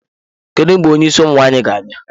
Kedu mgbe onye isi ụmụ nwaanyị ga-abịa?